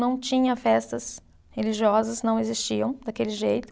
Não tinha festas religiosas, não existiam daquele jeito.